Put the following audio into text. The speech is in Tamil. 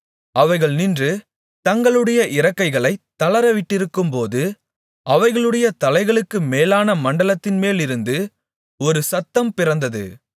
அவைகள் நின்று தங்களுடைய இறக்கைகளைத் தளரவிட்டிருக்கும்போது அவைகளுடைய தலைகளுக்கு மேலான மண்டலத்தின்மேலிருந்து ஒரு சத்தம் பிறந்தது